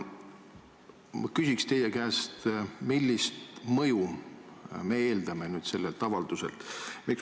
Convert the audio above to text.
Ma küsin teie käest, millist mõju me eeldame nüüd sellelt avalduselt.